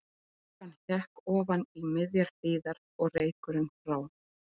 Þokan hékk ofan í miðjar hlíðar og reykurinn frá